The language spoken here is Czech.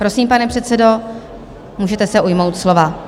Prosím, pane předsedo, můžete se ujmout slova.